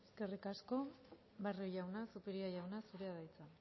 eskerrik asko barrio jauna zupiria jauna zurea da hitza